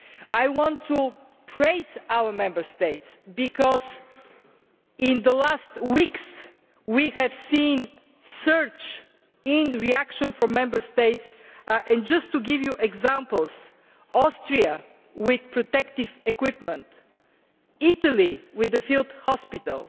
I want to praise our Member States because in the last weeks we have seen a surge in reaction from them just to give you some examples, Austria with protective equipment, Italy with a field hospital,